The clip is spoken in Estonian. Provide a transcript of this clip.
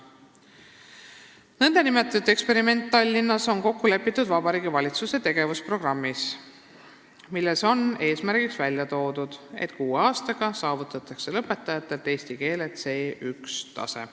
Niinimetatud eksperiment Tallinnas on kokku lepitud Vabariigi Valitsuse tegevusprogrammis, milles on toodud eesmärk, et kuue aastaga saavutatakse lõpetajate eesti keele oskuse C1-tase.